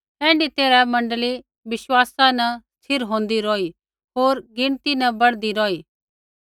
ऐण्ढै तैरहै मण्डली विश्वासा न स्थिर होंदै रौही होर गिणती न बढ़दी रौही